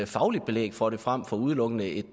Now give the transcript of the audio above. fagligt belæg for det frem for udelukkende et